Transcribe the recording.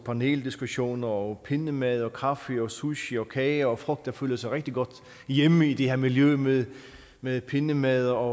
paneldiskussioner og pindemadder og kaffe og sushi og kage og folk der føler sig rigtig godt hjemme i det her miljø med med pindemadder og